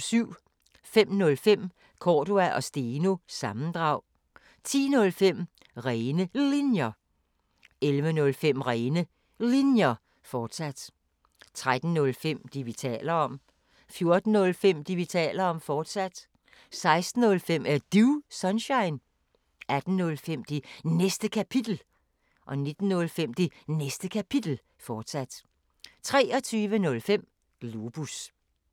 05:05: Cordua & Steno – sammendrag 10:05: Rene Linjer 11:05: Rene Linjer, fortsat 13:05: Det, vi taler om 14:05: Det, vi taler om, fortsat 16:05: Er Du Sunshine? 18:05: Det Næste Kapitel 19:05: Det Næste Kapitel, fortsat 23:05: Globus